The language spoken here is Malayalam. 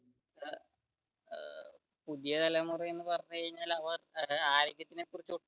പുതിയ തലമുറ എന്ന് പറഞ്ഞു കഴിഞ്ഞാൽ അവ